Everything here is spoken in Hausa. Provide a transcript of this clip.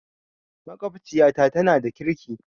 Maƙwabciyata tana da ƙirki